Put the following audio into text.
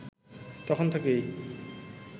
তখন থেকেই